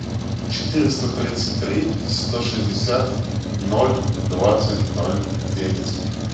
четыреста тридцать три сто шестьдесят ноль двадцать ноль девять